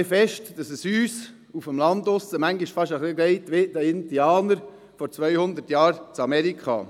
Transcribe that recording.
Uns draussen auf dem Land geht es aber bisweilen so wie den Indianern vor zweihundert Jahren in Amerika: